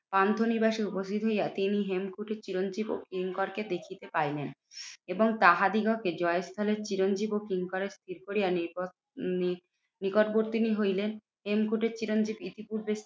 পান্থনিবাসে উপস্থিত হইয়া তিনি হেমকুটির চিরঞ্জিত ও কিঙ্করকে দেখিতে পাইলেন এবং তাহাদিগকে জয়স্থানের চিরঞ্জিত ও কিঙ্করের স্থির করিয়া নিকট নি নিকটবর্তিনী হইলেন হেমকূটের চিরঞ্জিত ইতিপূর্বে